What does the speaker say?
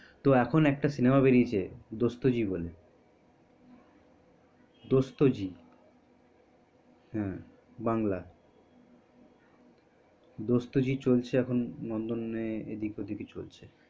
তো এখন একটা cinema বেরিয়েছে দোস্তজি বলে দোস্তজি দোস্তজি দোস্তিজী হিন্দী না বাংলা ও হম বাংলা দোস্তজি চলছে এখন নন্দনে এদিক ওদিক চলছে